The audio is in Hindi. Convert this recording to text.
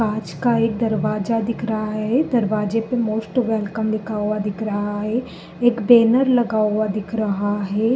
कांच का एक दरवाजा दिख रहा हे दरवाजे पे मोस्ट वेलकम लिखा हुआ दिख रहा हे। एक बैनर लगा हुआ दिख रहा हे।